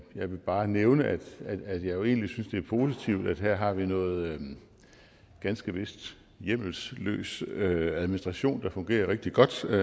jeg vil bare nævne at jeg jo egentlig synes det er positivt at vi her har noget ganske vist hjemmelløs hjemmelløs administration der fungerer rigtig godt og